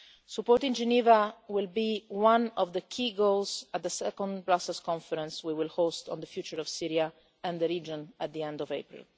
Support in Geneva will be one of the key goals of the second Brussels conference we will host on the future of Syria and the region at the end of April.